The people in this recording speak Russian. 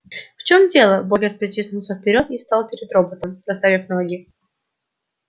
в чем дело богерт протиснулся вперёд и встал перед роботом расставив ноги